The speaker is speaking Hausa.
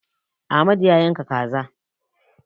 Amadu ya yanka kaza.